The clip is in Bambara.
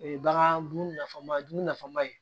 O ye bagan dumun nafama ye dumuni nafama ye